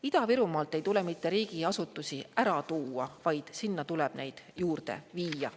Ida-Virumaalt ei tule mitte riigiasutusi ära tuua, vaid sinna tuleb neid juurde viia.